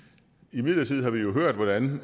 imidlertid har vi jo hørt hvordan